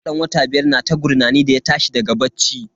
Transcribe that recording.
Yarona dan wata biyar na ta gurnani da ya tashi daga bacci.